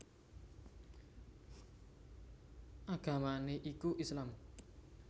Agamané iku Islam